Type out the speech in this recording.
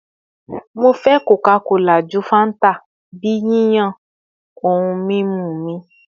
Mo fẹ Coca-Cola ju Fanta bi yiyan ohun mimu mi